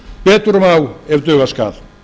betur má ef duga skal